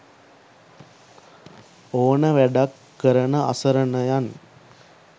ඕන වැඩක් කරන අසරණයන්